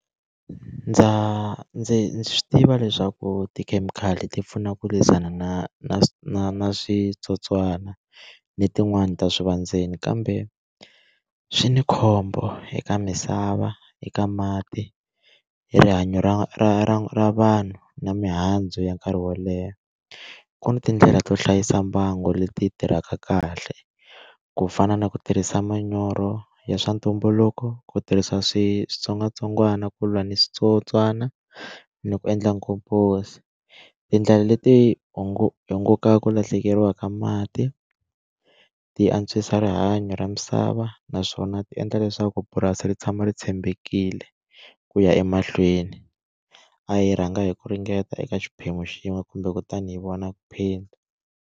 Ndza ndzi swi tiva leswaku tikhemikhali ti pfuna ku lwisana na na na na switsotswana ni tin'wani ta swivandzeni kambe swi ni khombo eka misava eka mati hi rihanyo ra ra ra ra vanhu na mihandzu ya nkarhi wo leha ku ni tindlela to hlayisa mbangu leti tirhaka kahle ku fana na ku tirhisa manyoro ya swa ntumbuluko ku tirhisa switsongwatsongwana ku lwa ni switsotswana ni ku endla ngopfu so tindlela leti hi ngo ku lahlekeriwa ka mati ti antswisa rihanyo ra misava naswona ti endla leswaku purasi ri tshama ri tshembekile ku ya emahlweni a yi rhanga hi ku ringeta eka xiphemu xin'we kumbe kutani hi vona phinda.